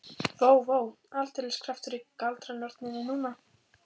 Vó, vó, aldeilis kraftur í galdranorninni núna.